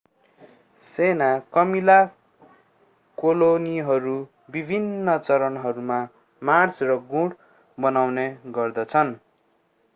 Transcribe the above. सेना कमिला कोलोनीहरू विभिन्न चरणहरूमा मार्च र गुँड बनाउने गर्दछन्